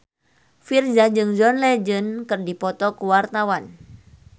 Virzha jeung John Legend keur dipoto ku wartawan